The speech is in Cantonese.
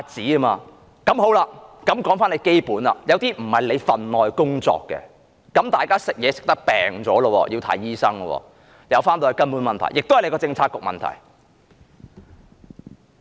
有些問題本來不是局長的分內工作，大家因為吃東西而患病，需要看醫生，最後還是她政策局的問題。